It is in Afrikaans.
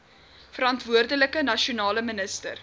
verantwoordelike nasionale minister